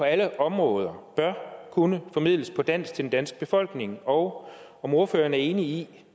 alle områder bør kunne formidles på dansk til den danske befolkning og om ordføreren er enig i